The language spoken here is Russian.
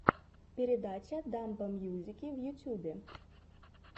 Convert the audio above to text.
передача дамбо мьюзики в ютюбе